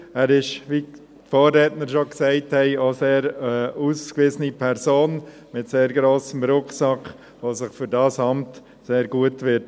Er ist, wie die Vorredner schon gesagt haben, eine sehr ausgewiesene Person mit sehr grossem Rucksack, die sich für dieses Amt sehr gut eignen wird.